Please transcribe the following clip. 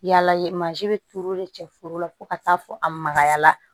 Yala ye mansin bɛ turu de cɛ foro la fo ka taa fɔ a magaya la